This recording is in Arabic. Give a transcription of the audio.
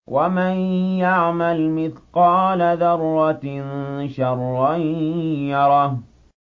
وَمَن يَعْمَلْ مِثْقَالَ ذَرَّةٍ شَرًّا يَرَهُ